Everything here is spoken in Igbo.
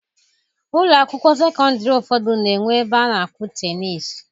Ụlọ akwụkwọ sekọndịrị ụfọdụ na-enwe ebe a na-akụ teniisi.